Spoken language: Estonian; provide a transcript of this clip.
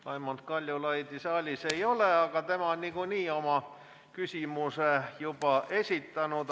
Raimond Kaljulaidi saalis ei ole, aga tema on niikuinii oma küsimuse juba esitanud.